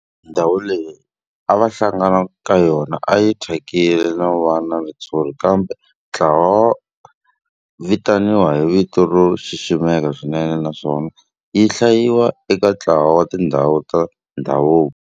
Ndhawu leyi a va hlangana ka yona a yi thyakile no va na ritshuri kambe namuntlha yi vitaniwa hi vito ro xiximeka swinene naswona yi hlayiwa eka ntlawa wa tindhawu ta ndhavuko.